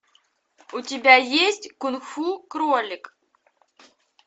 у тебя есть кунг фу кролик